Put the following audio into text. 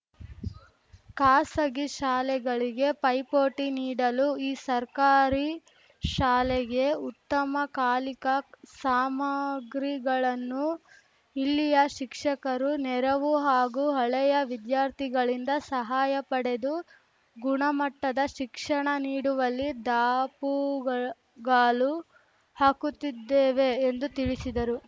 ಖಾಸಗಿ ಶಾಲೆಗಳಿಗೆ ಪೈಪೊಟಿ ನೀಡಲು ಈ ಸರ್ಕಾರಿ ಶಾಲೆಗೆ ಉತ್ತಮ ಕಾಲಿಕಾ ಸಾಮಗ್ರಿಗಳನ್ನು ಇಲ್ಲಿಯ ಶಿಕ್ಷಕರು ನೆರವು ಹಾಗೂ ಹಳೆಯ ವಿದ್ಯಾರ್ಥಿಗಳಿಂದ ಸಹಾಯ ಪಡೆದು ಗುಣ ಮಟ್ಟದ ಶಿಕ್ಷಣ ನೀಡುವಲ್ಲಿ ದಾಪುಗಾಲು ಹಾಕುತ್ತಿದ್ದೇವೆ ಎಂದು ತಿಳಿಸಿದರು